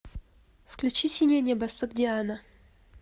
включи синее небо согдиана